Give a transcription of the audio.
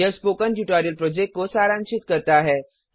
यह spoken tutorial project को सारांशित करता है